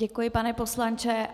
Děkuji, pane poslanče.